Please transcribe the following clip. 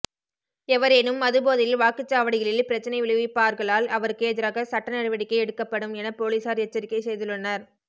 எவரேனும் மதுபோதையில் வாக்குச் சாவடிகளில் பிரச்சினை விளைவிப்பார்களால் அவருக்கு எதிராக சட்ட நடவடிக்கை எடுக்கப்படும் என பொலிஸார் எச்சரிக்கை செய்துள்ளனர்